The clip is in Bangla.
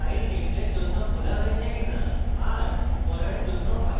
r = পড়ার জন্য file খোলে